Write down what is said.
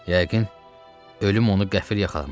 Yəqin ölüm onu qəfil yaxalamışdı.